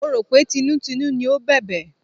Mo rò pé tinútinú ni ó bẹ̀bẹ̀.